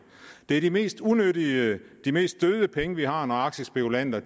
det er de mest unyttige og de mest døde penge vi har når aktiespekulanter